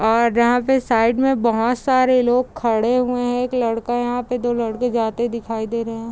और यहाँ पे साइड में बहुत सारे लोग खड़े हुए हैं | एक लड़का यहाँ पे दो लड़के जाते हुए दिखाई दे रहे हैं ।